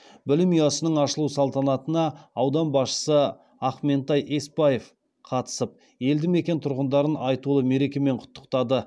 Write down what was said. білім ұясының ашылу салтанатына аудан басшысы ақментай есбаев қатысып елді мекен тұрғындарын айтулы мерекемен құттықтады